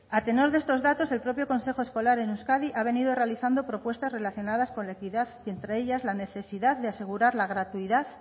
a tenor de estos datos el propio consejo escolar en euskadi ha venido realizando propuestas relacionadas con la equidad y entre ellas la necesidad de asegurar la gratuidad